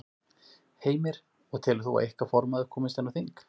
Heimir: Og telur þú að ykkar formaður komist inn á þing?